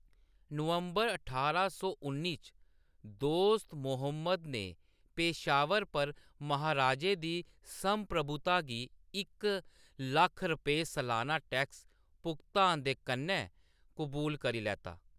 नवंबर ठारां सौ उन्नी च, दोस्त मोहम्मद ने पेशावर पर महाराजे दी संप्रभुता गी इक लक्ख रपेऽ सलाना टैक्स भुगतान दे कन्नै कबूल करी लैता।